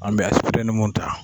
An bɛ mun ta